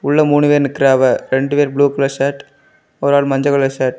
உள்ள மூணு பேர் நிக்கிறாவ ரெண்டு பேர் ப்ளூ கலர் ஷர்ட் ஒரு ஆள் மஞ்ச கலர் ஷர்ட் .